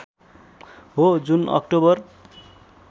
हो जुन अक्टोबर